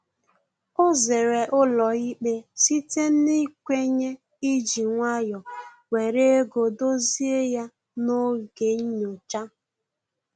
O zere ụlọ ikpe site n'ikwenye iji nwayọ were ego dozie ya n'oge nnyocha